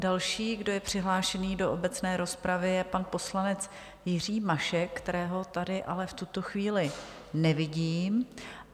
Další, kdo je přihlášený do obecné rozpravy, je pan poslanec Jiří Mašek, kterého tady ale v tuto chvíli nevidím.